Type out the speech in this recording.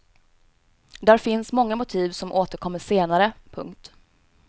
Där finns många motiv som återkommer senare. punkt